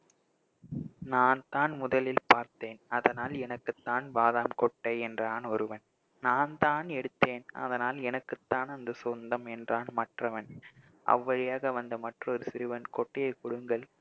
நான்தான் முதலில் பார்த்தேன் அதனால் எனக்குத்தான் பாதாம் கொட்டை என்றான் ஒருவன் நான்தான் எடுத்தேன் அதனால் எனக்குத்தான் அந்த சொந்தம் என்றான் மற்றவன் அவ்வழியாக வந்த மற்றொரு சிறுவன் கொட்டையை குடுங்கள்